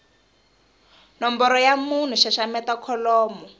nomboro ya munhu xaxameta kholomo